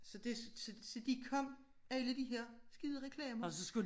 Så det så de kom alle de her skide reklamer